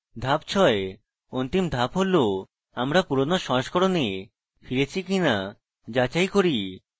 ধাপ 6: অন্তিম ধাপ হল আমরা পুরোনো সংস্করণে ফিরেছি কিনা যাচাই করা